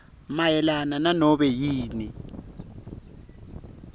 mayelana nanobe yini